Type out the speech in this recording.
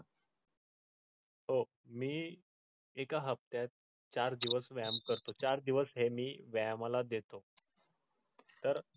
हो मी एका हफ्त्यात चार दिवस व्यायाम करतो चार दिवस हे मी व्यायामाला देतो तर.